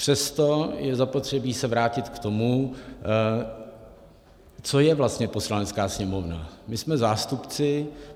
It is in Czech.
Přesto je zapotřebí se vrátit k tomu, co je vlastně Poslanecká sněmovna.